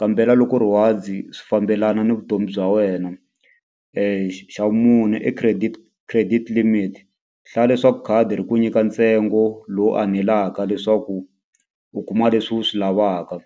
kambela loko rewards swi fambelana ni vutomi bya wena xa vumune i credit credit limit hlaya leswaku khadi ri ku nyika ntsengo lowu anelaka leswaku u kuma leswi u swi lavaka.